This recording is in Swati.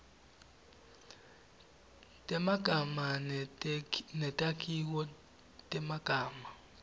temagama netakhiwo temagama